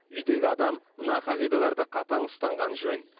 үйдегі адам мына қағидаларды қатаң ұстанғаны жөн